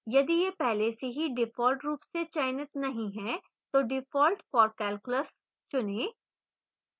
यदि यह पहले से ही default रूप से चयनित नहीं है तो default for calculus चुनें